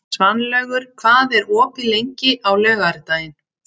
Svanlaugur, hvað er opið lengi á laugardaginn?